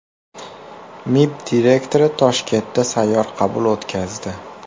MIB direktori Toshkentda sayyor qabul o‘tkazdi.